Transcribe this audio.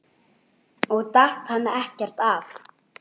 Og datt hann ekkert af?